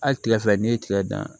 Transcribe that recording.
Hali kile fila n'i ye tigɛ dan